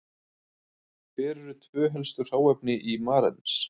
Hver eru tvö helstu hráefni í marengs?